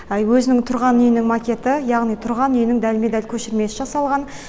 өзінің тұрған үйінің макеті яғни тұрған үйінің дәлме дәл көшірмесі жасалған